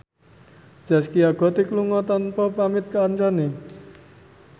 Zaskia Gotik lunga tanpa pamit kancane